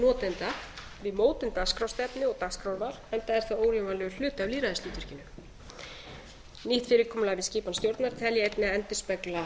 auk notenda við mótun dagskrárstefnu og dagskrárval enda er það órjúfanlegur hluti af lýðræðishlutverkinu nýtt fyrirkomulag við skipan stjórnar tel ég einnig endurspegla